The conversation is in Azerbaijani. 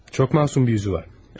Çox masum bir yüzü var.